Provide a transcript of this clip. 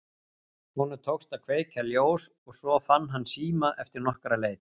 Honum tókst að kveikja ljós og svo fann hann síma eftir nokkra leit.